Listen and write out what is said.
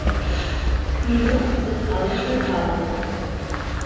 Knjigo sestavljata dva dela.